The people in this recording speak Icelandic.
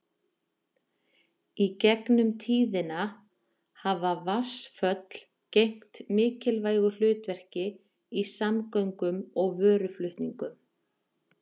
í gegnum tíðina hafa vatnsföll gegnt mikilvægu hlutverki í samgöngum og vöruflutningum